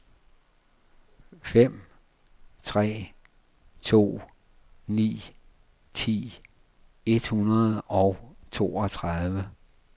fem tre to ni ti et hundrede og toogtredive